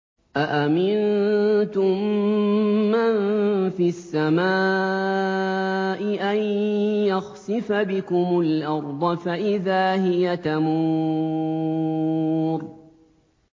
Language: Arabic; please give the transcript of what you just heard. أَأَمِنتُم مَّن فِي السَّمَاءِ أَن يَخْسِفَ بِكُمُ الْأَرْضَ فَإِذَا هِيَ تَمُورُ